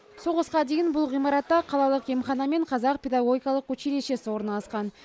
соғысқа дейін бұл ғимаратта қалалық емхана мен қазақ педагогикалық училищесі орналасқан